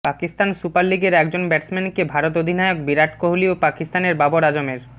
Pakistan super লিগের এক জন ব্যাটসম্যানকে ভারত অধিনায়ক বিরাট কোহালি ও পাকিস্তানের বাবর আজমের